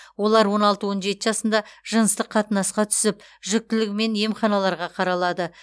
олар он алты он жеті жасында жыныстық қатынасқа түсіп жүкітілігімен емханаларға қаралады